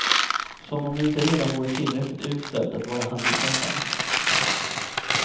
Som om det inte redan vore tillräckligt uselt att vara handikappad.